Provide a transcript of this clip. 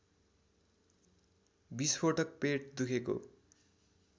विष्फोटक पेट दुखेको